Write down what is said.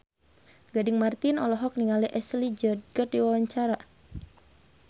Gading Marten olohok ningali Ashley Judd keur diwawancara